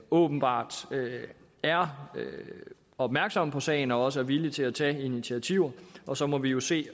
åbenbart er opmærksom på sagen og også er villig til at tage initiativer og så må vi jo se